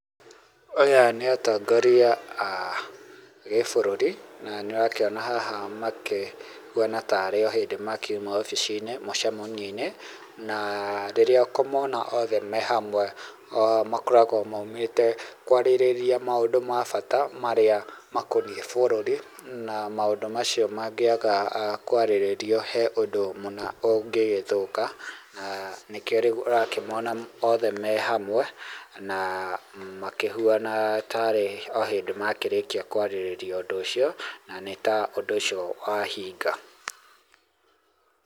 Aya nĩ atongoria a gĩ bũrũri na nĩ ũrakĩona haha makĩhuaha ta rĩ o hĩndĩ makiuma wobici-inĩ mũcemanio-inĩ na aah rĩrĩa ũkũmona othe me hamwe makoragwo maumĩte kwarĩrĩria maũndũ ma bata marĩa makonie bũrũri na maũndũ macio mangĩaga kwarĩrĩrio he ũndũ mũna ũngĩgĩthũka aah nĩkĩo rĩu ũrakĩmona othe me hamwe na makĩhuana tarĩ o hĩndĩ makĩrĩkia kwarĩrĩria ũndũ ũcio na nĩta ũndũ ũcio wa hinga.